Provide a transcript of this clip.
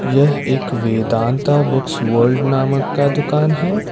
यह एक Vedanta books world नामक का दुकान है।